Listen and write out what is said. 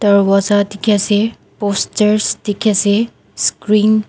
dorwaja dikhi ase posters dikhi ase screen .